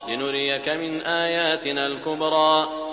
لِنُرِيَكَ مِنْ آيَاتِنَا الْكُبْرَى